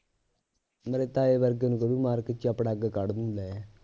ਮੇਰੇ ਤਾਏ ਵਰਗੇ ਨੂੰ ਕਹਵੇ ਮਾਰਕੇ ਚਪੜਾ ਅੱਗ ਕੱਢ ਦੇਊਂ ਲੈ